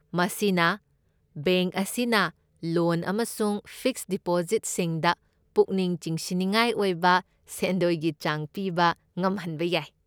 ꯃꯁꯤꯅ ꯕꯦꯡꯛ ꯑꯁꯤꯅ ꯂꯣꯟ ꯑꯃꯁꯨꯡ ꯐꯤꯛꯁꯗ ꯗꯤꯄꯣꯖꯤꯠꯁꯤꯡꯗ ꯄꯨꯛꯅꯤꯡ ꯆꯤꯡꯁꯤꯟꯅꯤꯡꯉꯥꯏ ꯑꯣꯏꯕ ꯁꯦꯟꯗꯣꯏꯒꯤ ꯆꯥꯡ ꯄꯤꯕ ꯉꯝꯍꯟꯕ ꯌꯥꯏ꯫